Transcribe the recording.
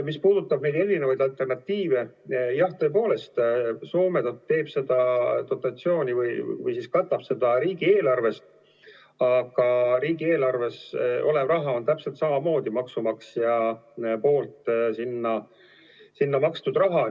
Mis puudutab erinevaid alternatiive, siis Soomes tõepoolest on dotatsioon ja see kaetakse riigieelarvest, aga riigieelarves olev raha on täpselt samamoodi maksumaksja poolt sinna makstud raha.